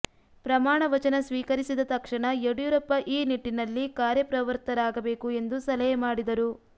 ಪ್ರಮಾಣ ವಚನ ಸ್ವೀಕರಿಸಿದ ತಕ್ಷಣ ಯಡಿಯೂರಪ್ಪ ಈ ನಿಟ್ಟಿನಲ್ಲಿ ಕಾರ್ಯಪ್ರವೃತ್ತರಾಗಬೇಕು ಎಂದು ಸಲಹೆ ಮಾಡಿದರು